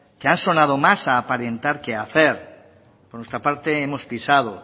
que han sonado más en aparentar que a hacer por nuestra parte hemos pisado